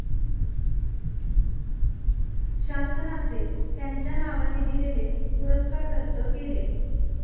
शासनाचे त्यांच्या नावाने दिलेले पुरस्कार रद्द केले.